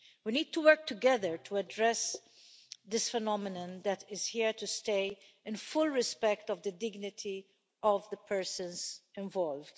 We need to work together to address this phenomenon that is here to stay, in full respect of the dignity of the persons involved.